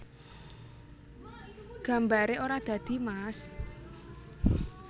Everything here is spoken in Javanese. Gambaré ora dadi mas